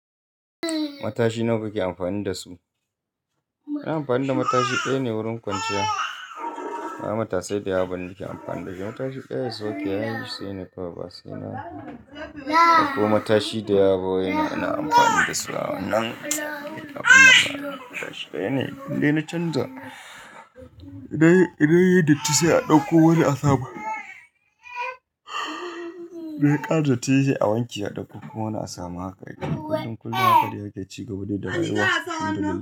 Matashi nawa kake amfani da su? Ina amfani da matashi ɗaya ne wurin kwanciya. Ba matasai da yawa ba nake amfani da shi. Matashi ɗaya is oke ya ishe ni kawai ba sai na. Ɗau ko matashi da yawa bawai ina amfani da su. Nan akwai lafina bana amfani da shi ɗaya ne. Inde na canza idan yayi datti sai a ɗauko wani a saba. Da ƙara datti se awanke a ɗauko ko ina samu haka. Kai kullum kullum haka da yake ci gaba dai da rai wa.